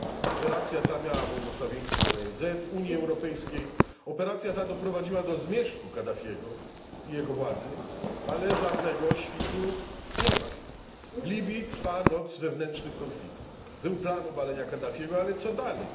Operacja ta miała błogosławieństwo ONZ, Unii Europejskiej i doprowadziła do zmierzchu Kaddafiego i jego władzy, ale żadnego świtu nie ma. W Libii trwa noc wewnętrznych konfliktów. Był plan obalenia Kaddafiego, ale co dalej?